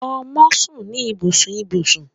Ọmọ sun ni ibusun ibusun